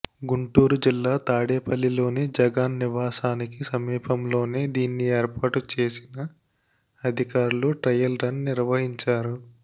గుంటూరు జిల్లా తాడేపల్లిలోని జగన్ నివాసానికి సమీపంలోనే దీన్ని ఏర్పాటు చేసిన అధికారులు ట్రయల్ రన్ నిర్వహించారు